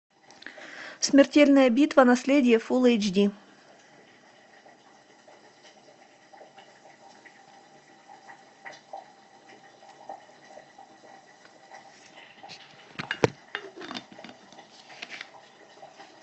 смертельная битва наследие фул эйч ди